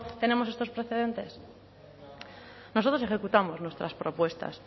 tenemos estos precedentes nosotros ejecutamos nuestras propuestas